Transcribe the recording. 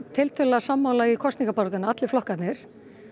sammála í kosningabaráttunni allir flokkarnir